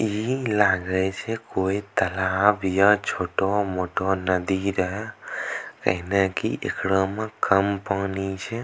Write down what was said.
इ लागे छै कोई तलाब या छोटो-मोटो नदी रहे एहना की एकरो में कम पानी छै।